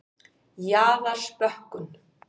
Jaðarsbökkum